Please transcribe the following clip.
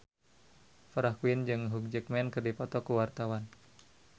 Farah Quinn jeung Hugh Jackman keur dipoto ku wartawan